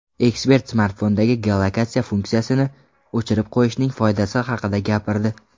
Ekspert smartfondagi geolokatsiya funksiyasini o‘chirib qo‘yishning foydasi haqida gapirdi.